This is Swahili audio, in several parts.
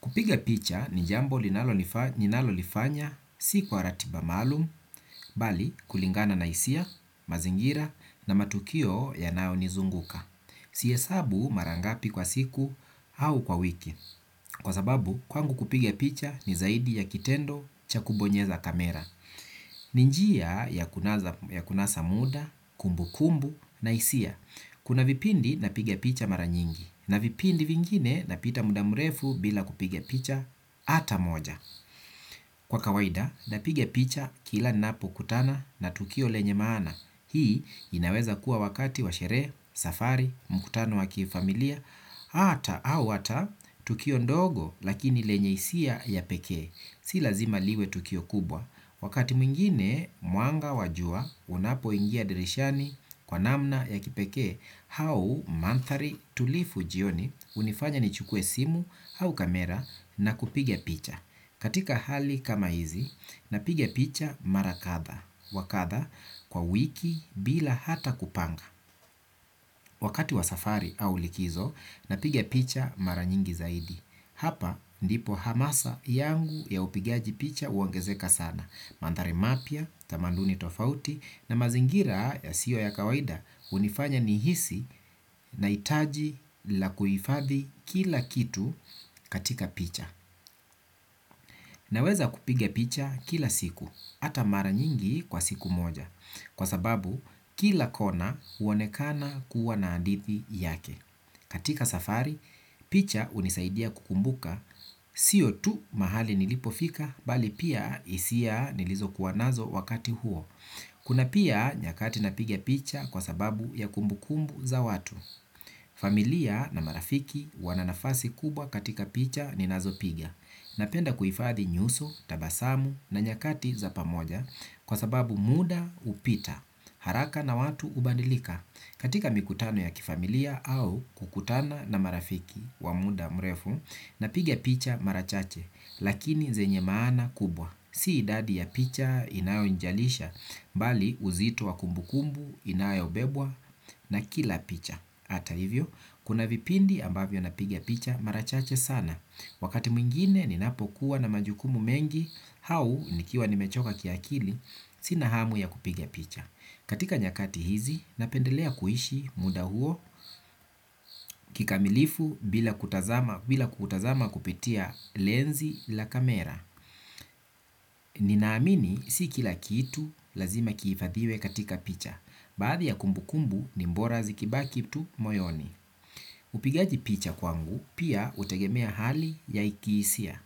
Kupiga picha ni jambo linalo lifanya si kwa ratiba malum, bali kulingana na isia, mazingira na matukio yanao nizunguka. Siesabu marangapi kwa siku au kwa wiki. Kwa sababu, kwangu kupiga picha ni zaidi ya kitendo cha kubonyeza kamera. Ninjia ya kunasa muda, kumbu kumbu na isia. Kuna vipindi napiga picha maranyingi na vipindi vingine napita mudamurefu bila kupige picha ata moja. Kwa kawaida napiga picha kila napo kutana na tukio lenye maana. Hii inaweza kuwa wakati washere, safari, mukutano wakifamilia ata au wata tukio ndogo lakini lenye isia ya pekee. Si lazima liwe tukio kubwa, wakati mwingine muanga wajua unapo ingia dirishani kwa namna ya kipeke, hau manthari tulifu jioni unifanya nichukue simu au kamera na kupige picha. Katika hali kama hizi, napiga picha mara katha, wakatha kwa wiki bila hata kupanga. Wakati wa safari au likizo, napiga picha mara nyingi zaidi. Hapa ndipo hamasa yangu ya upigaji picha uongezeka sana. Mandari mapia, tamanduni tofauti, na mazingira yasiyo ya kawaida unifanya nihisi na itaji la kuifadhi kila kitu katika picha. Naweza kupige picha kila siku, ata mara nyingi kwa siku moja, kwa sababu kila kona uonekana kuwa na andithi yake. Katika safari, picha unisaidia kukumbuka, siyo tu mahali nilipofika, bali pia isia nilizo kuwanazo wakati huo. Kuna pia nyakati napiga picha kwa sababu ya kumbukumbu za watu. Familia na marafiki wana nafasi kubwa katika picha ni nazo pigia. Napenda kuifadhi nyuso, tabasamu na nyakati za pamoja kwa sababu muda upita. Haraka na watu ubandilika katika mikutano ya kifamilia au kukutana na marafiki wa muda mrefu. Napiga picha marachache lakini zenye maana kubwa. Si idadi ya picha inayo njalisha, mbali uzito wa kumbukumbu inayo bebwa na kila picha. Ata hivyo, kuna vipindi ambavyo napigia picha marachache sana. Wakati mwingine ninapokuwa na majukumu mengi, hau nikiwa nimechoka kia kili, sina hamu ya kupigia picha. Katika nyakati hizi, napendelea kuishi muda huo, kikamilifu bila kutazama kupitia lenzi la kamera. Ninaamini si kila kitu lazima kiifadhiwe katika picha. Baadhi ya kumbu kumbu ni mbora zikiba kitu moyoni. Upigaji picha kwangu pia utegemea hali ya ikiisia.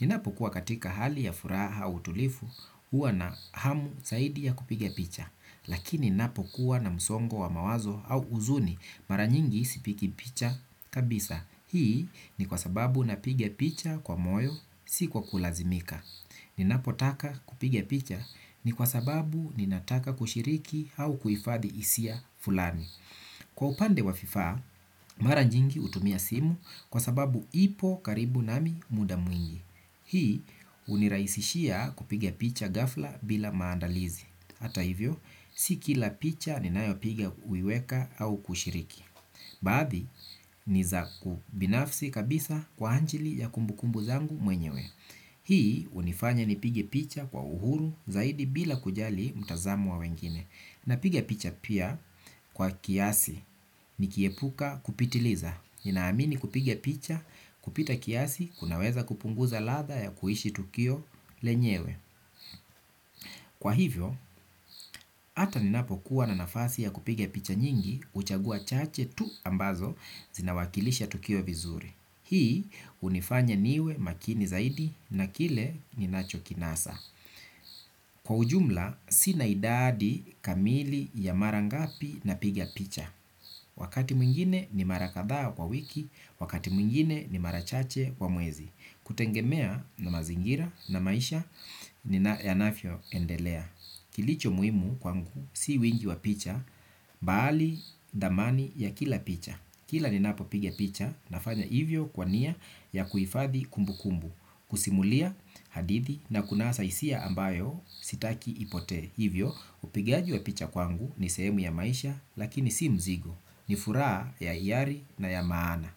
Ninapo kuwa katika hali ya furaha au tulifu uwa na hamu saidi ya kupigia picha. Lakini napo kuwa na msongo wa mawazo au uzuni mara nyingi sipiki picha kabisa. Hii ni kwa sababu napigia picha kwa moyo si kwa kulazimika. Ninapo taka kupigia picha ni kwa sababu ninataka kushiriki au kuifadhi isia fulani. Kwa upande wa FIFA, mara nyingi utumia simu kwa sababu ipo karibu nami muda mwingi. Hii uniraisishia kupige picha gafla bila maandalizi. Hata hivyo, si kila picha ninayo pigia uiweka au kushiriki. Baadhi ni za kubinafsi kabisa kwa anchili ya kumbukumbu zangu mwenyewe. Hii unifanya nipige picha kwa uhuru zaidi bila kujali mtazamo wa wengine. Na piga picha pia kwa kiasi ni kiepuka kupitiliza. Ninaamini kupiga picha kupita kiasi kunaweza kupunguza latha ya kuishi tukio lenyewe. Kwa hivyo, ata ninapo kuwa na nafasi ya kupigia picha nyingi uchagua chache tu ambazo zinawakilisha tukio vizuri. Hii unifanya niwe makini zaidi na kile ninacho kinasa. Kwa ujumla, sina idadi kamili ya marangapi na pigia picha. Wakati mwingine ni marakatha kwa wiki, wakati mwingine ni marachache kwa muezi. Kutengemea na mazingira na maisha, nina ya nafyo endelea. Kilicho muimu kwangu si wingi wa picha, bali damani ya kila picha. Kila ninapo pigia picha nafanya hivyo kwania ya kuifadhi kumbu kumbu. Kusimulia hadithi na kunasa isia ambayo sitaki ipote. Hivyo upigaji wa picha kwangu ni sehemu ya maisha lakini si mzigo. Nifuraa ya iari na ya maana.